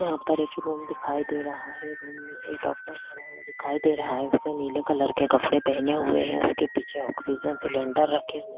यहाँ पर एक रूम दिखाई दे रहा है रूम में एक डॉक्टर भी खड़ा दिखाई दे रहा है उसने नीले कलर के कपड़े पहने हुए है उसके पीछे ऑक्सीजन सिलेंडर रखे हुए--